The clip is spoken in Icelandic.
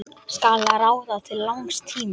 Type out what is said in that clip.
Skal ráða til langs tíma?